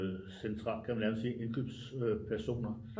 Central kan man nærmest sige indkøbs personer